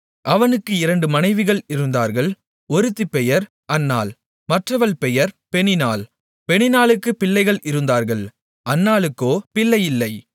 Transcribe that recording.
அவனுக்கு இரண்டு மனைவிகள் இருந்தார்கள் ஒருத்தி பெயர் அன்னாள் மற்றவள் பெயர் பெனின்னாள் பெனின்னாளுக்குப் பிள்ளைகள் இருந்தார்கள் அன்னாளுக்கோ பிள்ளை இல்லை